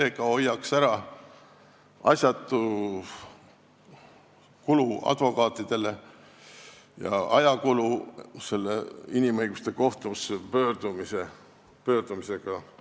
See hoiaks ära asjatud kulutused advokaatidele ja ajakulu, mis tekib inimõiguste kohtusse pöördumisega.